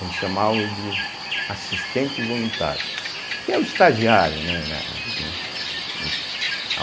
eles chamavam de assistente voluntário, que é o estagiário, né? na que